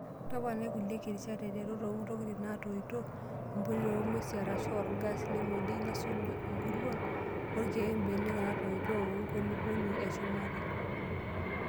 Toponai kulie kirishat aiteru too ntokitin naatoito, empulia oo ng'wesi arash orgas le modioi nesuju nkuruon oorkiek, mbenek naatoito, wenkulupuoni eshumata.